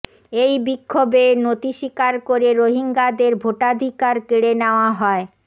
এই বিক্ষোভে নতি স্বীকার করে রোহিঙ্গাদের ভোটাধিকার কেড়ে নেওয়া হয়